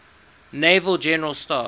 naval general staff